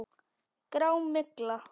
Grá. mygla!